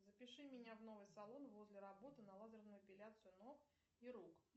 запиши меня в новый салон возле работы на лазерную эпиляцию ног и рук